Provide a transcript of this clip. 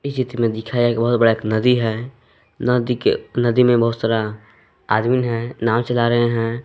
चित्र में दिखाया कि बहुत बड़ा एक नदी है नदी के नदी में बहुत सारा आदमीन हैं नाव चला रहे हैं।